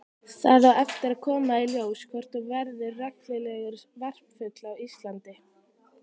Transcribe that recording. Það á eftir að koma í ljós hvort hún verður reglulegur varpfugl á Íslandi.